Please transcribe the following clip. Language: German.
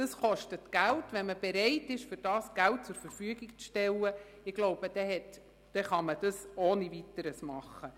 Das kostet Geld, und wenn man bereit ist, dafür Geld zur Verfügung zu stellen, kann man das ohne Weiteres tun.